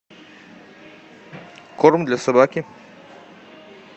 корм для собаки